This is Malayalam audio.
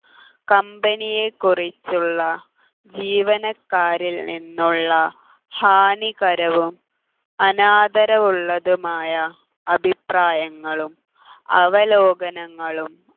company യെ കുറിച്ചുള്ള ജീവനക്കാരിൽ നിന്നുള്ള ഹാനികരവും അനാദരവുള്ളതുമായ അഭിപ്രായങ്ങളും അവലോകനങ്ങളും